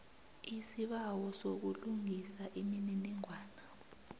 isibawo sokulungisa imininingwana